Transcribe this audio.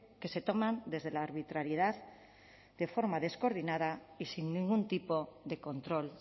que se toman desde la arbitrariedad de forma descoordinada y sin ningún tipo de control